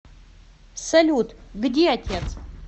салют где отец